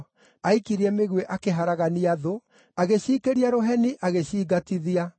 Aikirie mĩguĩ, akĩharagania thũ, agĩciikĩria rũheni, agĩcingatithia.